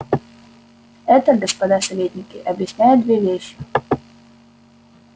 это господа советники объясняет две вещи